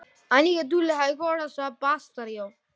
Tvær konur í áframhaldandi gæsluvarðhald